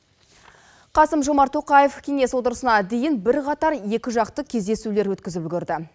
қасым жомарт тоқаев кеңес отырысына дейін бірқатар екіжақты кездесулер өткізіп үлгірді